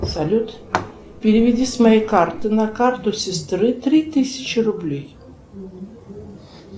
салют переведи с моей карты на карту сестры три тысячи рублей